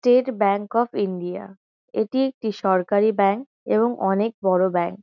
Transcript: state Bank of India এটি একটি সরকারি ব্যাঙ্ক এবং অনেক বড়ো ব্যাঙ--